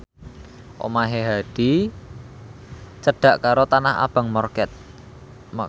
omahe Hadi cedhak karo Tanah Abang market